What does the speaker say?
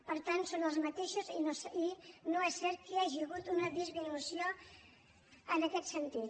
per tant són els mateixos i no és cert que hi hagi hagut una disminució en aquest sentit